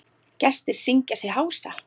Gestir syngja sig hása.